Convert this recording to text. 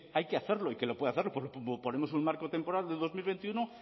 hay que hacerlo y que lo puede hacer pues ponemos un marco temporal de dos mil veintiuno